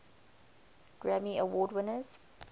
grammy award winners